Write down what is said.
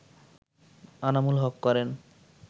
আনামুল হক করেন